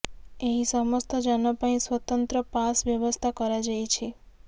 ଏହି ସମସ୍ତ ଯାନ ପାଇଁ ସ୍ବତନ୍ତ୍ର ପାସ୍ ବ୍ୟବସ୍ଥା କରାଯାଇଛି